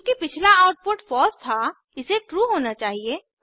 चूँकि पिछला output false था इसे ट्रू होना चाहिए